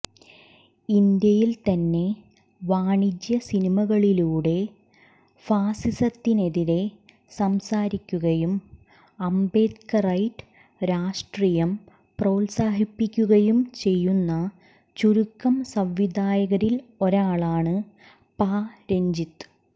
ഇന്ത്യയിൽ തന്നെ വാണിജ്യ സിനിമകളിലൂടെ ഫാസിസത്തിനെതിരെ സംസാരിക്കുകയും അംബേദ്ക്റൈറ്റ് രാഷ്ട്രീയം പ്രോത്സാഹിപ്പിക്കുകയും ചെയ്യുന്ന ചുരുക്കം സംവിധായകരിൽ ഒരാളാണ് പാ രഞ്ജിത്ത്